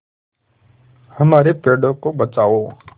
हमारे पेड़ों को बचाओ